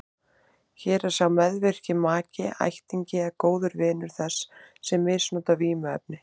Hér er sá meðvirki maki, ættingi eða góður vinur þess sem misnotar vímuefnin.